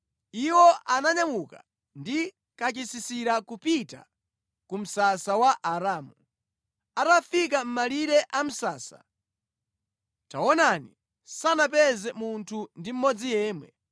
Iwo ananyamuka ndi kachisisira kupita ku msasa wa Aaramu. Atafika mʼmalire a msasa, taonani, sanapeze munthu ndi mmodzi yemwe,